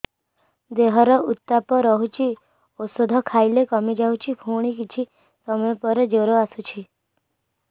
ଦେହର ଉତ୍ତାପ ରହୁଛି ଔଷଧ ଖାଇଲେ କମିଯାଉଛି ପୁଣି କିଛି ସମୟ ପରେ ଜ୍ୱର ଆସୁଛି